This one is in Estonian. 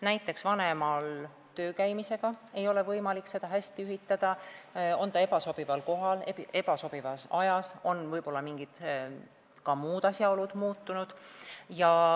Näiteks ei ole tööl käival vanemal võimalik neid asju hästi ühitada, teenust võidakse pakkuda ebasobivas kohas või ebasobival ajal, ka muud asjaolud võivad olla muutunud.